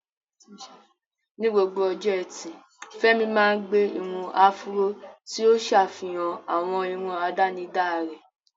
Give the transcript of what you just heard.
Ní gbogbo ọjọ́ Ẹtì, Femi máa ń gbé irun áfúró, tí ó ń ṣàfihàn àwọn irun àdánidá rẹ̀.